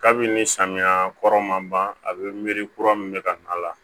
Kabini samiya kɔrɔ ma ban a be miiri kura min be ka na